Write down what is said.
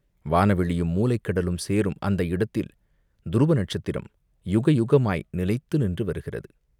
வானவெளியும் மூலைக் கடலும் சேரும் அந்த இடத்தில் துருவ நட்சத்திரம் யுக யுகமாய் நிலைத்து நின்று வருகிறது!